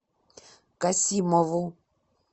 касимову